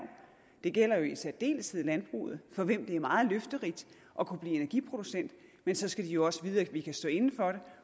det gælder jo i særdeleshed landbruget for hvem det er meget løfterigt at kunne blive energiproducent men så skal de også vide at vi kan stå inde for det